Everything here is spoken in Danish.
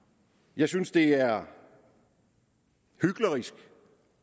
jeg synes det er hyklerisk